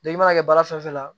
i mana kɛ baara fɛn fɛn la